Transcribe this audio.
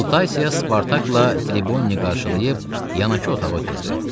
Lutasiya Spartakla Tribonini qarşılayıb yanaşı otağa ötrdü.